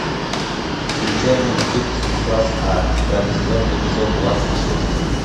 включай мультфильм спецкласс а пятый сезон эпизод двадцать шесть